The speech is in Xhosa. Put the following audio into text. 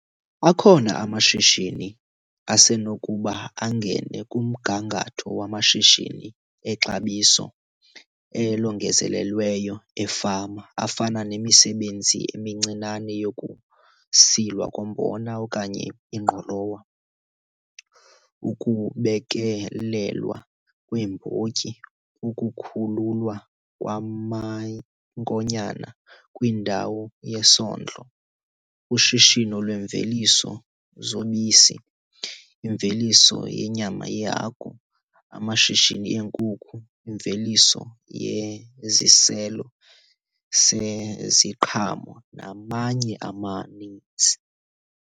Akhona amashishini asenokuba angene kumgangatho wamashishini exabiso elongezelelweyo efama afana nemisebenzi emincinane yokusilwa kombona okanye ingqolowa, ukubekelelwa kweembotyi, ukukhululwa kwamankonyana kwindawo yesondlo, ushishino lweemveliso zobisi, imveliso yenyama yehagu, amashishini eenkuku, imveliso yeziselo seziqhamo namanye amaninzi.